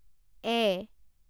এ